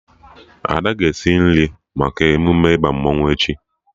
Ada ga-esi nri maka emume ịba mmanwụ echi